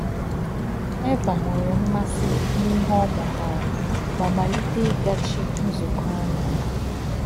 Éva nwere m̀màsị n’ihe ọ mụtara ma malite ịgáchi nzúkọ ánya.